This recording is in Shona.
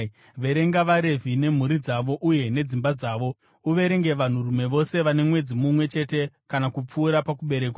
“Verenga vaRevhi nemhuri dzavo uye nedzimba dzavo. Uverenge vanhurume vose vane mwedzi mumwe chete kana kupfuura pakuberekwa.”